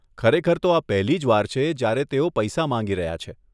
ખરેખર તો આ પહેલી જ વાર છે, જયારે તેઓ પૈસા માંગી રહ્યાં છે.